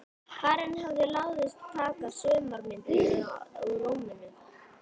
Karen hafði láðst að taka sumar myndirnar úr römmunum.